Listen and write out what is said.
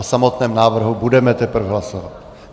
O samotném návrhu budeme teprve hlasovat.